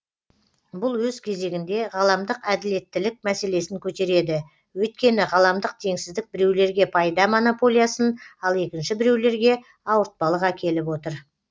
бүл өз кезегінде ғаламдық әділеттілік мәселесін көтереді өйткені ғаламдық теңсіздік біреулерге пайда монополиясын ал екінші біреулерге ауыртпалық әкеліп отыр